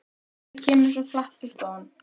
Þetta kemur svo flatt upp á hann.